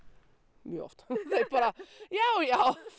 mjög oft já já